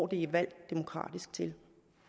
det er valgt demokratisk til